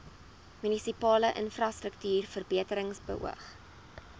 munisipale infrastruktuurverbetering beoog